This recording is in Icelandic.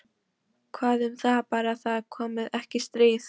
Hvað um það- bara það komi ekki stríð.